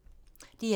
DR1